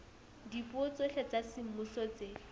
dipuo tsohle tsa semmuso tse